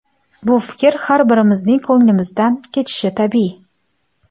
Bu fikr har birimizning ko‘ngilimizdan kechishi tabiiy.